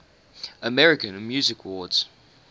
american music awards